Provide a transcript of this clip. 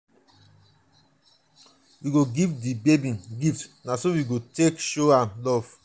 we go give di baby gifts na so we go take show am love.